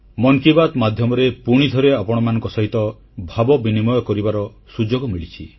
ମନ କି ବାତ୍ ମାଧ୍ୟମରେ ପୁଣିଥରେ ଆପଣମାନଙ୍କ ସହିତ ଭାବ ବିନିମୟ କରିବାର ସୁଯୋଗ ମିଳିଛି